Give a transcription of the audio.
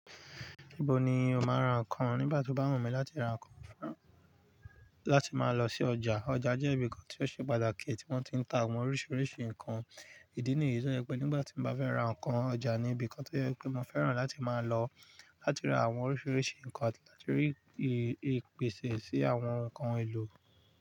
Ibo ni o máa rán ǹkan nígbà tí o bá wunmí láti ra ǹnkan fún, láti máa lọ sí ọjà? Ọjà jẹ́ ibi kan tí ó ṣe pàtàkì tí wọ́n ti ń ta àwọn oríṣiríṣi ǹkan. Ìdí nìyí tí ó jẹ pé nígbà tí mbá fẹ́ ra ǹnkan, ọjà ni ibi kan tí ó jẹ pé mo fẹ́ràn láti máa lọ láti ra àwọn oríṣiríṣi ǹnkan ati láti rí ìpèsè sí àwọn ǹnkan èlò.